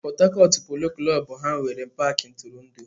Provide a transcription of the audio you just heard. ⁰Port Harcourt Polo klọb ha nwere paaki ntụrụndụ?